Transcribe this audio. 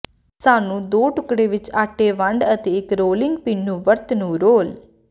ਸਾਨੂੰ ਦੋ ਟੁਕੜੇ ਵਿੱਚ ਆਟੇ ਵੰਡ ਅਤੇ ਇੱਕ ਰੋਲਿੰਗ ਪਿੰਨ ਨੂੰ ਵਰਤ ਨੂੰ ਰੋਲ